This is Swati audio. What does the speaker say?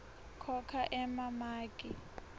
khokha emamaki